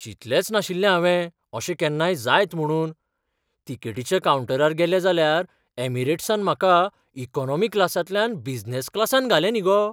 चिंतलेंच नाशिल्लें हावें अशें केन्नाय जायत म्हुणून. तिकेटिच्या कावंटरार गेलें जाल्यार ऍमिरेट्सान म्हाका इकॉनॉमी क्लासांतल्यान बिझनॅस क्लासांत घालें न्ही गो.